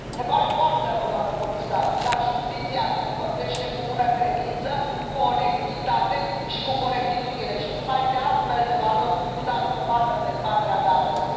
Ne pare foarte rău, doamnă comisar, dar justiția se înfăptuiește cu bună credință, cu onestitate și cu corectitudine și numai de astfel de valori nu dați dovadă în dezbaterea de astăzi.